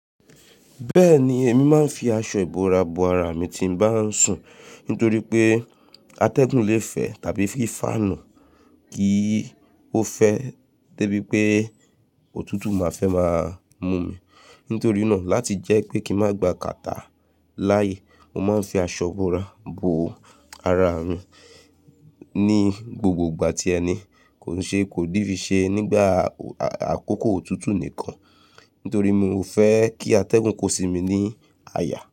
Bẹ́ẹ̀ni, èmi máa ń fi aṣọ ìbora bo ara mi tí n bá ń sùn nítorí pé atẹ́gùn le fẹ́ tàbí fi ń fáànù, kí ó fẹ́ dé bí pé òtútù máa fẹ́ máa mú mi. Nítorí náà, láti jẹ́ pé kí n má gba catarrh láàyè, mo máa ń fi aṣọ ìbora bo ara mi ní gbogbo ìgbà tí ẹni kò ṣe kò di fi ṣe nígbà àkókò òtútù nìkan. Nítorí mi ò fẹ́ kí atẹ́gùn kó sí mi ní àyà.